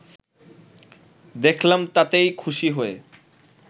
দেখলাম তাতেই খুশি হয়ে